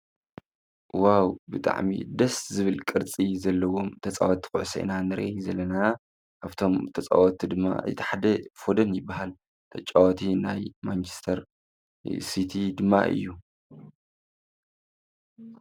ዋው ብጥዕሚ ደስ ዝብል ቅርጺ ዘለዎም ተፃወቲ ኩዕሶ ኢና ንርኢ ዘለና ኣብፍቶም ተጻወቲ ድማ እቲ ሓደ ፈደን ይበሃል ተጫወቲ ናይ ማንቸስተር ሲቲ ድማ እዩ።